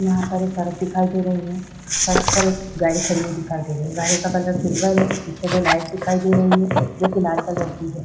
यहाँ पर एक सड़क दिखाई दे रही है। सड़क पर एक गाय खड़ी हुई दिखाई दे रही है। गाय का कलर सुंदर है। पीछे दो लाइट दिखाई दे रही है जोकि लाल कलर की है।